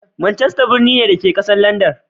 Manchester birni ne, da ke a ƙasar Landan.